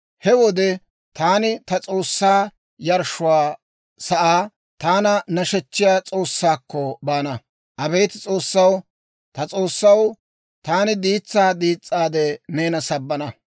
He wode taani ta S'oossaa yarshshuwaa sa'aa, taana nashechchiyaa S'oossaakko baana. Abeet S'oossaw, ta S'oossaw, taani diitsaa diis's'aade, neena sabbana.